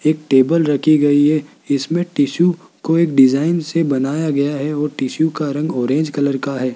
एक टेबल रखी गई है इसमें टिशु को एक डिजाइन से बनाया गया है और टिशु का रंग ऑरेंज कलर का है।